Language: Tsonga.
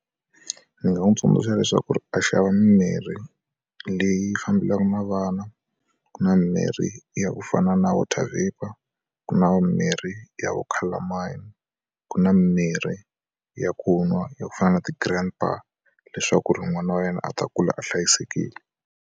Ndzi nga n'wi tsundzuxa leswaku a xava mimirhi leyi fambelaka na vana ku na mirhi ya ku fana na vo water vapour ku na mirhi ya vo colormine ku na mirhi ya ku nwa ya ku fana na ti-grandpa leswaku ri n'wana wa yena a ta kula a hlayisekile.